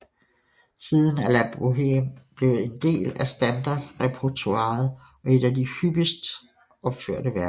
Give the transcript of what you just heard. Siden er La Bohème blevet en del af standardrepertoiret og et af de hyppigst opførte værker